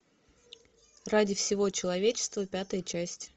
ради всего человечества пятая часть